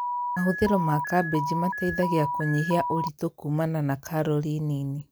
Mahũthĩro ma kambĩji mateithagia kũnyihia ũrito kumana na karori nini